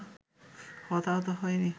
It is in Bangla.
হতাহত হয়নি